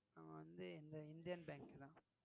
நான் வந்து இந்த இந்தியன் பேங்க் இங்க.